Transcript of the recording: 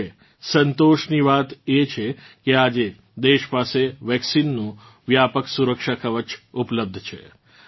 જોકે સંતોષની વાત એ છે કે આજે દેશ પાસે વેક્સીનનું વ્યાપક સુરક્ષા કવચ ઉપલબ્ધ છે